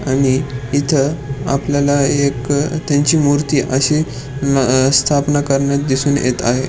आणि इथ आपल्याला एक त्यांची मूर्ति असे न अ स्थापना करण्यात दिसून येत आहे.